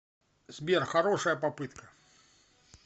сбер хорошая попытка